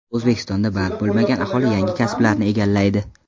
O‘zbekistonda band bo‘lmagan aholi yangi kasblarni egallaydi.